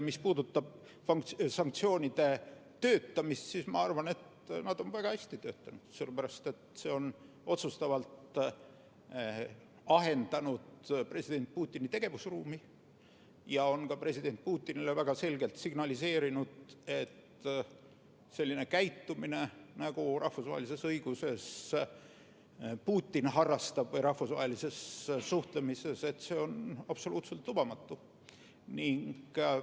Mis puudutab sanktsioonide töötamist, siis ma arvan, et nad on väga hästi töötanud, sellepärast, et see on otsustavalt ahendanud president Putini tegevusruumi ja on ka president Putinile väga selgelt signaliseerinud, et selline käitumine, nagu Putin rahvusvahelises suhtlemises harrastab, on absoluutselt lubamatu.